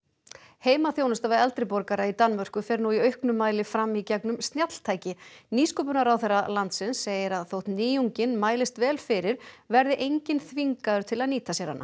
heimaþjónusta við eldri borgara í Danmörku fer nú í auknum mæli fram í gegnum snjalltæki nýsköpunarráðherra landsins segir að þótt nýjungin mælist vel fyrir verði enginn þvingaður til að nýta sér hana